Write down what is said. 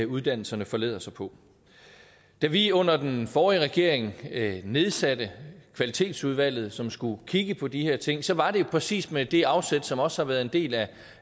uddannelserne forlader sig på da vi under den forrige regering nedsatte kvalitetsudvalget som skulle kigge på de her ting så var det præcis med det afsæt som også har været en del